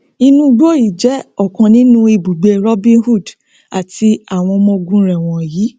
inú igbó yìí jẹ ọkan nínú ibùgbé robin hood àti àwọn ọmọ ogun rẹ wọnyí